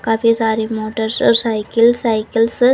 काफी सारे मोटर्स और साइकिल साइकल्स --